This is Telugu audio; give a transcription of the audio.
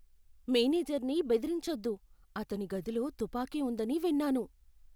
మేనేజర్ని బెదిరించొద్దు. అతని గదిలో తుపాకీ ఉందని విన్నాను.